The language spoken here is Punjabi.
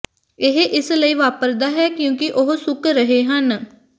ਇਹ ਇਸ ਲਈ ਵਾਪਰਦਾ ਹੈ ਕਿਉਂਕਿ ਉਹ ਸੁੱਕ ਰਹੇ ਹਨ